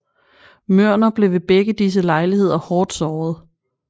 Mørner blev ved begge disse lejligheder hårdt såret